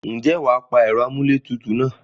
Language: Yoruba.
Ǹjẹ́ wà á pa ẹ̀rọ amúlé tutù náà?